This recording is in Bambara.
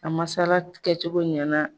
A masala kɛcogo ɲɛna